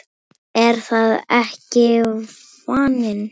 Er það ekki vaninn?